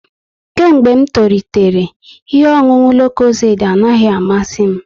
Kemgbe m toritere, ihe ọṅụṅụ lokozedi anaghị amasizi m